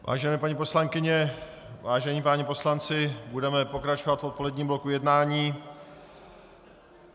Vážené paní poslankyně, vážení páni poslanci, budeme pokračovat v odpoledním bloku jednání.